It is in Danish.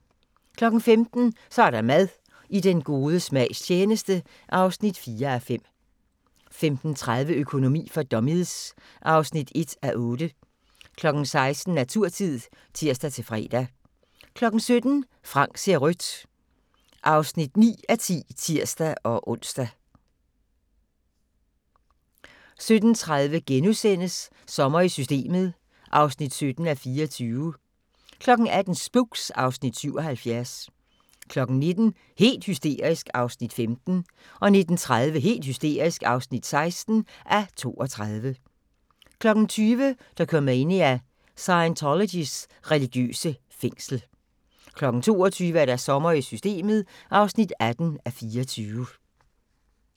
15:00: Så er der mad – I den gode smags tjeneste (4:5) 15:30: Økonomi for dummies (1:8) 16:00: Naturtid (tir-fre) 17:00: Frank ser rødt (9:10)(tir-ons) 17:30: Sommer i Systemet (17:24)* 18:00: Spooks (Afs. 77) 19:00: Helt hysterisk (15:32) 19:30: Helt hysterisk (16:32) 20:00: Dokumania: Scientologys religiøse fængsel 22:00: Sommer i Systemet (18:24)